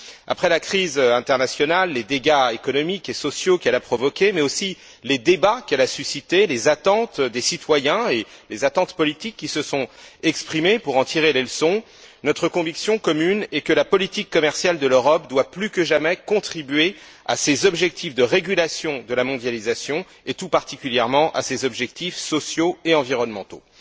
Après la crise internationale, les dégâts économiques et sociaux qu'elle a provoqués, mais aussi les débats qu'elle a suscités, les attentes des citoyens et les attentes politiques qui se sont exprimées pour en tirer les leçons, notre conviction commune est que la politique commerciale de l'Europe doit plus que jamais contribuer aux objectifs de régulation de la mondialisation, et tout particulièrement à ses objectifs sociaux et environnementaux.